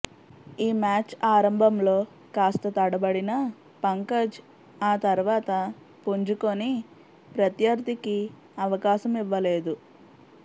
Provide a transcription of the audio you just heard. ఈ మ్యాచ్ ఆరంభంలో కాస్త తడబడిన పంకజ్ ఆ తర్వాత పుంజుకుని ప్రత్యర్థికి అవకాశం ఇవ్వలేదు